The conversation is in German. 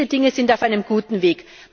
Diese Dinge sind auf einem guten Weg.